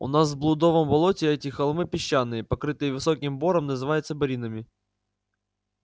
у нас в блудовом болоте эти холмы песчаные покрытые высоким бором называются боринами